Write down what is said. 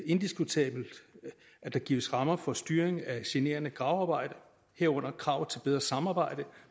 indiskutabelt at der gives rammer for styring af generende gravearbejde herunder krav til bedre samarbejde